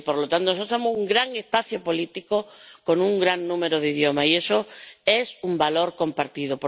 Es decir, por lo tanto, nosotros somos un gran espacio político con un gran número de idiomas, y eso es un valor compartido.